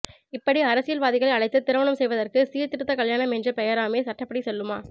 இப்படி அரசியல் வாதிகளை அழைத்து திருமணம் செய்வதற்கு சீர்திருத்தக் கல்யாண்ம் என்ற பெயராமே சட்டப்படிசெல்லுமா